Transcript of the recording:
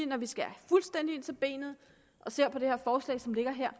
når vi skærer fuldstændig ind til benet og ser på det forslag som ligger her